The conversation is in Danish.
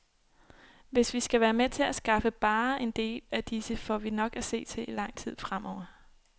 Hvis vi skal være med til at skaffe bare en del af disse, får vi nok at se til i lang tid fremover.